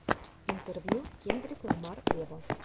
интервью кендрик ламар вево